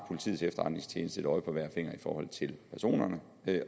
politiets efterretningstjeneste har et øje på hver finger i forhold til personerne